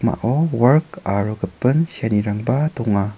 wark aro gipin seanirangba donga.